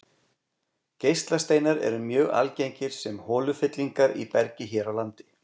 Geislasteinar eru mjög algengir sem holufyllingar í bergi hér á landi.